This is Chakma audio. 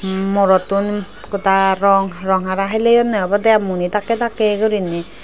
morottun goda rong rong hara heleyonney obodey ai muni dakkey dakkey guriney.